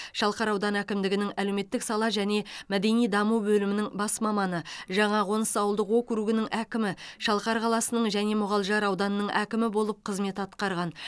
шалқар ауданы әкімдігінің әлеуметтік сала және мәдени даму бөлімінің бас маманы жаңақоныс ауылдық округінің әкімі шалқар қаласының және мұғалжар ауданының әкімі болып қызмет атқарған